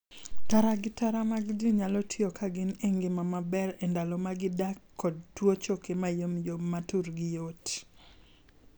Tara gi tara mag jii nyalo tiyo ka gin e ngima maber e ndalo ma gidak kod tuo choke mayomyom ma turgi yot.